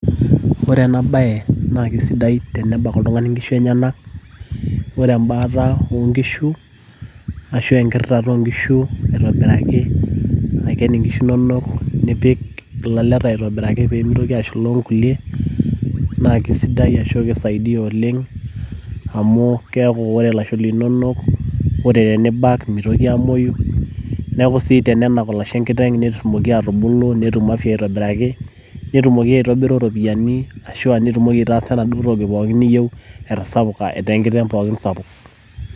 Ore ena bae na kesidai tenebak oltung'ani nkishu enyanak. Ore ebaata onkishu, ashu enkirritata onkishu aitobiraki, aiken inkishu nonok nipik ilaleta aitobiraki pemitoki ashula onkulie, naa kesidai ashu kisaidia oleng',amu keku ore lasho linonok, ore tenibak mitoki amoyu. Neeku si tenenak olashe enkiteng' netumoki atubulu, netum afya aitobiraki, netumoki aitobiru iropiyiani ashu nitumoki aitaasa enaduo toki pookin niyieu etasapuka, etaa enkiteng' pookin sapuk.